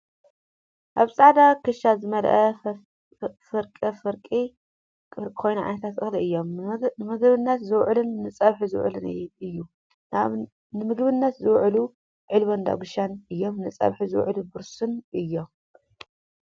ኣብ ፃዕዳ ክሻ ዝመልኣ ፈፍሪቀ ፈፍርቂ ኮይኑ ዓይነታት እክሊ እዮም ። ንምግብንት ዝውዕሉን ንፀቢሒ ዝውዕልን እዩ። ንምግብንት ዝውዕሉ ዒልቦን ዳጉሻን እየም ነፀቢሒ ዝውዕሉ ብርስን እዮም።